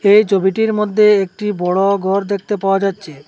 এই ছবিটির মধ্যে একটি বড় গর দেখতে পাওয়া যাচ্ছে।